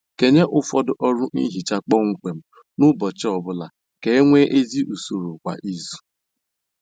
Kenye ụfọdụ ọrụ nhicha kpọmkwem n'ụbọchị ọbụla ka e nwee ezi usoro kwa izu